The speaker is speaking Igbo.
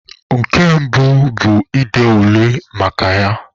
Nke mbụ bu ịde ule maka ya.